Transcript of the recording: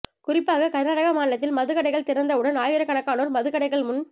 குறிப்பாக கர்நாடக மாநிலத்தில் மது கடைகள் திறந்தவுடன் ஆயிரக்கணக்கானோர் மதுக்கடைகள் முன்